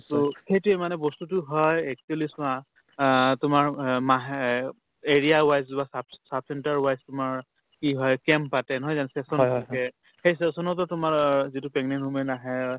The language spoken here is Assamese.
to সেইটোয়ে মানে বস্তুটো হয় actually চোৱা আ তোমাৰ অ মাহে area wise যোৱা sub sub center wise তোমাৰ কি হয় camp পাতে নহয় জানো session থাকে সেই session তো তোমাৰ অ যিটো pregnant woman আহে